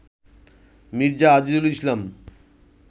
Mirza Azizul Islam